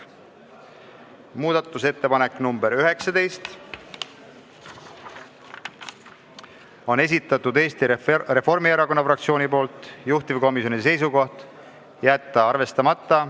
Muudatusettepanek nr 19 on Eesti Reformierakonna esitatud, juhtivkomisjoni seisukoht: jätta arvestamata.